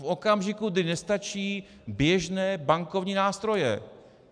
V okamžiku, kdy nestačí běžné bankovní nástroje.